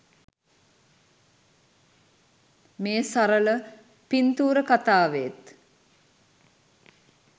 මේ සරල පින්තූර කතාවේත්